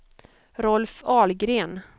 Rolf Ahlgren